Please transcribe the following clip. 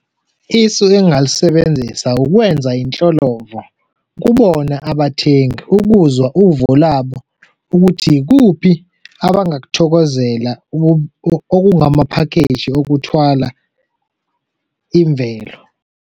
Isu engingalisebenzisa ukwenza inhlolovo kubona abathengi ukuzwa uvo labo ukuthi yikuphi abangakuthokozela okungamaphakheji okuthwala imvelo.